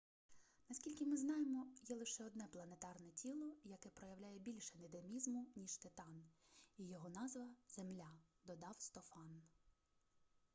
наскільки ми знаємо є лише одне планетарне тіло яке проявляє більше динамізму ніж титан і його назва земля - додав стофан